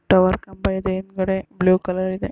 Tower ಕಂಬ ಇದೆ ಹಿಂದಗಡೆ ಬ್ಲೂ ಕಲರ್ ಇದೆ.